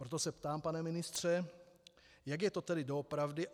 Proto se ptám, pane ministře, jak je to tedy doopravdy.